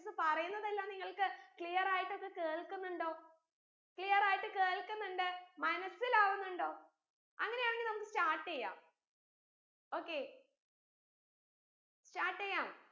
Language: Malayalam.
miss പറീന്നതെല്ലാം നിങ്ങൾക്ക് clear ആയിട്ടൊക്കെ കേൾകുന്നിണ്ടോ clear ആയിട്ട് കേൾകിന്നിണ്ട് മനസിലാവുന്നിണ്ടോ അങ്ങനെയാണെങ്കി നമ്മക്ക് start യ്യാം okay start യ്യാം